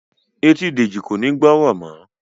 Ẹtì Deji kò ní o gbórò mọ